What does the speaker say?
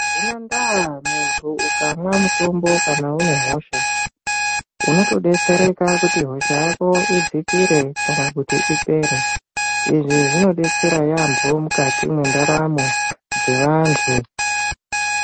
Hazvina ndaa muntu ukamwa mutombo kana une hosha. Unotodetsereka kuti hosha yako idzikire kana kuti ipere. Izvi zvinodetsera yaambo mukati mwendaramo dzevantu.